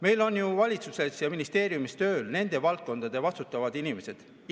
Meil on ju valitsuses ja ministeeriumis tööl nende valdkondade vastutavad inimesed.